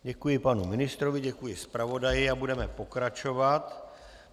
Děkuji panu ministrovi, děkuji zpravodaji a budeme pokračovat.